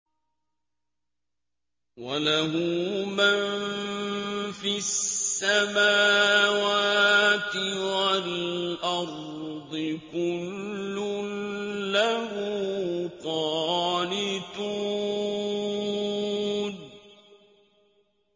وَلَهُ مَن فِي السَّمَاوَاتِ وَالْأَرْضِ ۖ كُلٌّ لَّهُ قَانِتُونَ